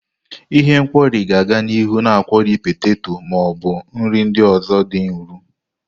Ihe nkwori ga-aga n'ihu na akwori peteto ma ọ bụ nri ndị ọzọ dị nro.